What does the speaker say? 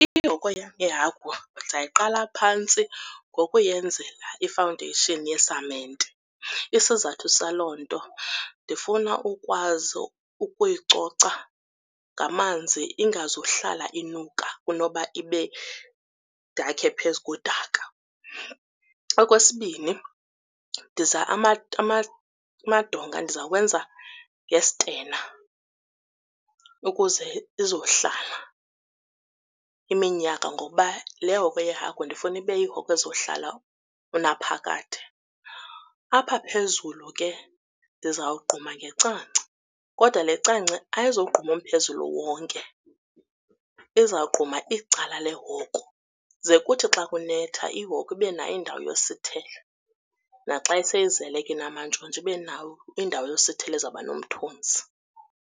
Ihoko yeehagu ndiza kuyiqala phantsi ngokuyenzela i-foundation yesamente. Isizathu saloo nto ndifuna ukwazi ukuyicoca ngamanzi ingazuhlala inuka kunoba ibe, ndakhe phezu kodaka. Okwesibini, amadonga ndizawenza ngesitena ukuze izohlala iminyaka ngokuba le hokwe yehagu ndifuna ibe yihokwe ezohlala unaphakade. Apha phezulu ke ndizawugquma ngecangce, kodwa le cangce ayizogquma umphezulu wonke, izawugquma icala lehoko, ze kuthi xa kunetha ihoko ibe nayo indawo yosithela. Naxa seyizele ke inamantshontsho ibe nayo indawo yokusithela ezawuba nomthunzi.